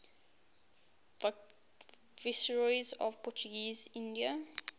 viceroys of portuguese india